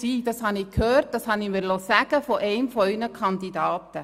diese habe ich gehört, diese liess ich mir von einem Ihrer Kandidaten sagen.